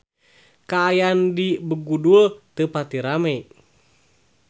Kaayaan di Begudul teu pati rame